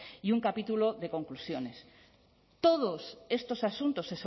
y un capítulo de conclusiones todos estos asuntos